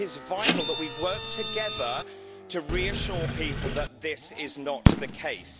So it is vital that we work together to reassure people that this is not the case.